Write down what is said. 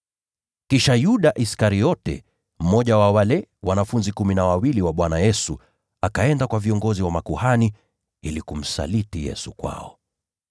Kisha Yuda Iskariote, mmoja wa wale wanafunzi kumi na wawili, akaenda kwa viongozi wa makuhani ili kumsaliti Yesu kwao.